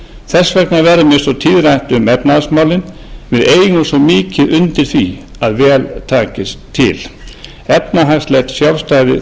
þess vegna verður mér svo tíðrætt um efnahagsmálin við eigum svo mikið undir því að vel takist til efnahagslegt sjálfstæði